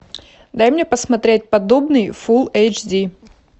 дай мне посмотреть поддубный фулл эйч ди